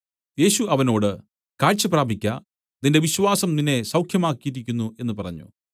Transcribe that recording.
യേശു അവനോട് കാഴ്ച പ്രാപിക്ക നിന്റെ വിശ്വാസം നിന്നെ സൗഖ്യമാക്കിയിരിക്കുന്നു എന്നു പറഞ്ഞു